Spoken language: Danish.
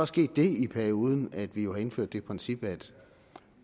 sket det i perioden at vi jo har indført det princip at